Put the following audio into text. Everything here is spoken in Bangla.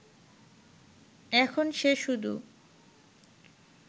এখন সে শুধু